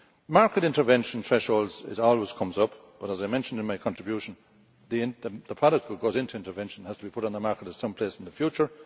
Market intervention thresholds always come up but, as I mentioned in my contribution, the product that goes into intervention has to be put on the market at some place in the future.